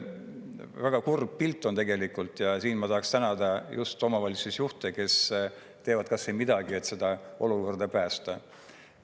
Väga kurb pilt on tegelikult ja siin ma tahaksin tänada just omavalitsusjuhte, kes teevad kas või midagi, et seda olukorda päästa.